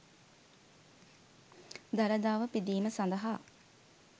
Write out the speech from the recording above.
දළදාව පිදීම සඳහා